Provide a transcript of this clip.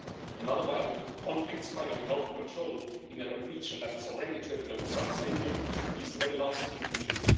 Another violent conflict spiralling out of control in a region that is already turbulent and unstable is the very last thing we need.